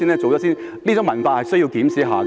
這種文化是需要檢視的。